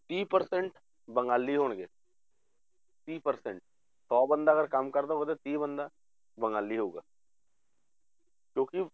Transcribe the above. ਤੀਹ percent ਬੰਗਾਲੀ ਹੋਣਗੇ ਤੀਹ percent ਸੌ ਬੰਦਾ ਅਗਰ ਕੰਮ ਕਰਦਾ ਉਹਦਾ ਤੀਹ ਬੰਦਾ ਬੰਗਾਲੀ ਹੋਊਗਾ ਕਿਉਂਕਿ